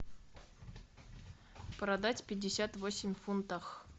продать пятьдесят восемь фунтах